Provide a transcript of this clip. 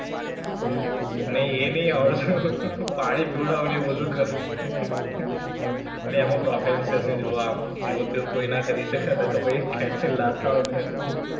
નહીં, એ નહીં આવડતું, પાણી પિવડાવું અને એ બધુ કરું. બે એમા professional જોવા. આમ જેવુ તેવુ કોય ના કરી શકે નકર પછી ખેંચીને લાત આવે ભેંસની.